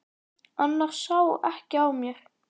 Annars sá ekki á mér.